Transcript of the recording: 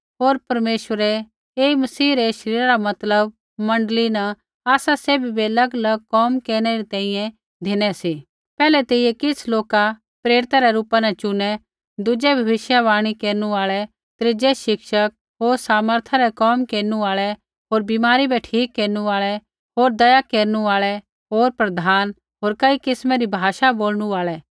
होर परमेश्वरै ऐई मसीह रै शरीर मतलब मण्डली न आसा सैभी बै अलगअलग कोम केरनै री तैंईंयैं धिनै सी पैहलै तेइयै किछ़ लोका प्रेरिता रै रूपा न चुनै दुज़ै भविष्यवाणी केरनु आल़ा त्रीज़ै शिक्षक होर सामर्था रै कोम केरनु आल़ै होर बीमारी बै ठीक केरनु आल़ै होर दया केरनु आल़ै होर प्रधान होर कई किस्मा री भाषा बोलणु आल़ै